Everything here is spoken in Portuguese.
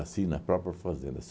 na própria fazenda.